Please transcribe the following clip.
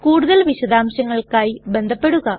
കൂടുതൽ വിശദംശങ്ങൾക്കായി ബന്ധപെടുക